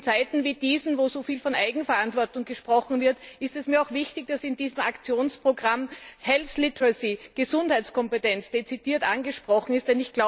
In Zeiten wie diesen, wo so viel von Eigenverantwortung gesprochen wird, ist es mir auch wichtig, dass in diesem Aktionsprogramm health literacy Gesundheitskompetenz dezidiert angesprochen ist.